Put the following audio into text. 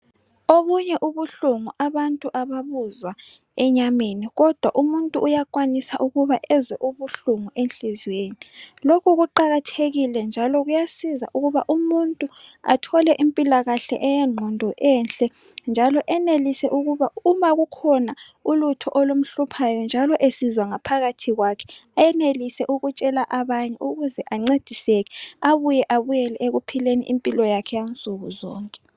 Obunye ubuhlungu abantu ababuzwa enyameni kodwa umuntu uyakwanisa ukuba ezwe ubuhlungu enhlizweni. Lokhu kuqakathekile njalo kuyasiza ukuba umuntu athole impilakahle eyengqondo enhle njalo enelise ukuba uma kukhona ulutho olumhluphayo njalo esizwa ngaphakathi kwakhe enelise ukutshela abanye ukuze ancediseke abuye abuyele ekuphileni impilo yakhe yansuku zonke.